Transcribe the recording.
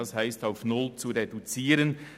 » Das bedeutet, sie auf null zu reduzieren.